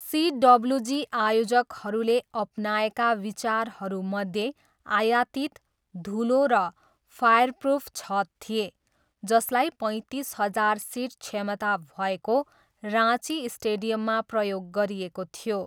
सिडब्लुजी आयोजकहरूले अपनाएका विचारहरूमध्ये आयातित, धुलो र फायरप्रुफ छत थिए जसलाई पैँतिस हजार सिट क्षमता भएको राँची स्टेडियममा प्रयोग गरिएको थियो।